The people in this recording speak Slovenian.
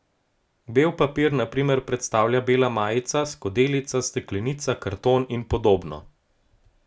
Bel papir na primer predstavlja bela majica, skodelica, steklenica, karton in podobno.